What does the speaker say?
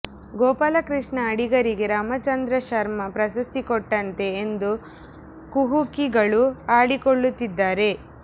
ಗೋಪಾಲಕೃಷ್ಣ ಅಡಿಗರಿಗೆ ರಾಮಚಂದ್ರ ಶರ್ಮ ಪ್ರಶಸ್ತಿ ಕೊಟ್ಟಂತೆ ಎಂದು ಕುಹುಕಿಗಳು ಆಡಿಕೊಳ್ಳುತ್ತಿದ್ದಾರೆ